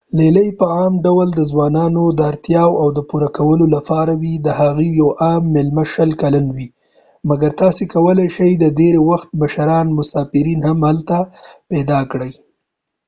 لیلیې په عام ډول د ځوانانو د اړتیاو د پوره کولو لپاره وي ،د هغوي یو عام میلمه شل کلن وي- مګر تاسی کولای شي ډیری وخت مشران مسافرین هم هلته پیدا کړي